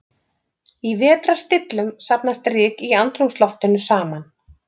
Í vetrarstillum safnast ryk í andrúmsloftinu saman.